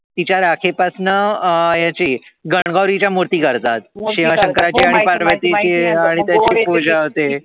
तिच्या राखे पासन ह्याची गण गौरी च्या मुर्ती करतात शिवशंकराची आणी पार्वतीची आणी त्याची पूजा होते